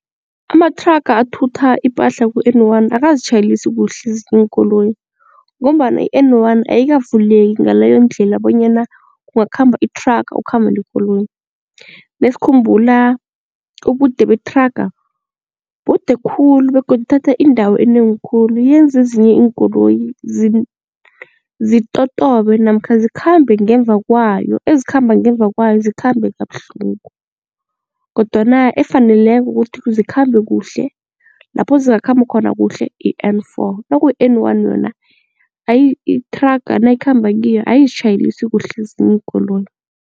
Amathraga athutha ipahla ku-N one akazitjhayelisi kuhle ezinye iinkoloyi ngombana i-N one ayakavuleki ngaleyo ndlela bonyana kungakhamba ithraga kukhambe nekoloyi. Nesikhumbula ubude bethraga bude khulu begodu ithatha indawo enengi khulu yenza ezinye iinkoloyi zitotobe namkha zikhambe ngemva kwayo ezikhamba ngemva kwayo zikhambe kabuhlungu kodwana efaneleko kuthi zikhambe kuhle, lapho ezingakhamba khona kuhle i-N four nakuyi N one yona ayi ithraga nayikhamba kiyo ayizitjhayelisi kuhle ezinye iinkoloyi.